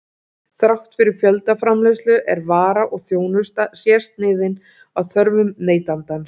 Þrátt fyrir fjöldaframleiðslu er vara og þjónusta sérsniðin að þörfum neytandans.